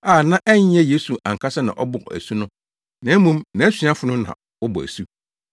a na ɛnyɛ Yesu ankasa na ɔbɔ asu no, na mmom nʼasuafo no na wɔbɔ asu.